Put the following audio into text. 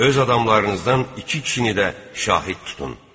Öz adamlarınızdan iki kişini də şahid tutun.